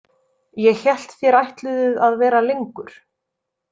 Ég hélt þér ætluðuð að vera lengur.